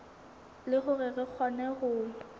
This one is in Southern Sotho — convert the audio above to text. le hore re kgone ho